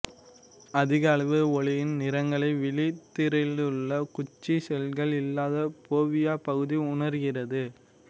அதிக அளவு ஒளியின் நிறங்களை விழித்திரையிலுள்ள குச்சி செல்கள் இல்லாத போவியா பகுதி உணர்கிறது